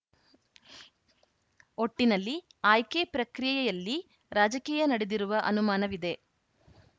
ಒಟ್ಟಿನಲ್ಲಿ ಆಯ್ಕೆ ಪ್ರಕ್ರಿಯೆಯಲ್ಲಿ ರಾಜಕೀಯ ನಡೆದಿರುವ ಅನುಮಾನವಿದೆ